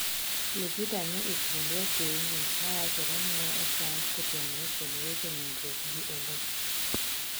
Lupita ni e kind wakeini mawachore ni ne osand kotenore kod weche nindruok gi Oloo